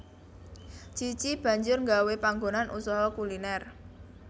Cici banjur nggawé panggonan usaha kuliner